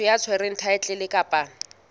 motho ya tshwereng thaetlele kapa